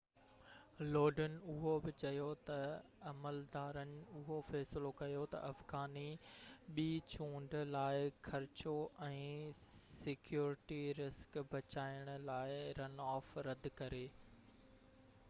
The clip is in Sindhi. لوڊن اهو بہ چيو تہ عملدارن اهو فيصلو ڪيو تہ افغاني ٻي چونڊ لاءِ خرچو ۽ سيڪيورٽي رسڪ بچائڻ لاءِ رن آف رد ڪري